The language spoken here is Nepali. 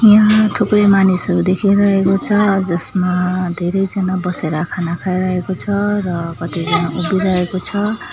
यहाँ थुप्रै मानिसहरू देखिरहेको छ अ जसमा धेरै जना बसेर खाना खाइरहेको छ र कतिजना उभिरहेको छ।